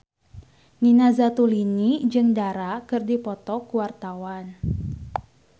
Nina Zatulini jeung Dara keur dipoto ku wartawan